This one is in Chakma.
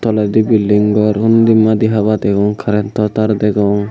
toledi building gor undi madi haba degong currento tar degong.